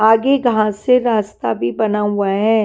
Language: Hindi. आगे घास से रास्ता भी बना हुआ है।